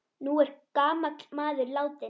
Nú er gamall maður látinn.